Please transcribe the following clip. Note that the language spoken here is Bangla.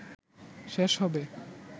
শেষ হবে।